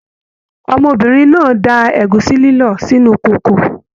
Ọmọbìnrin náà da ẹ̀gúsí lílọ̀ sínú kòkò